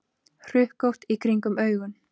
Hrukkótt í kringum augun.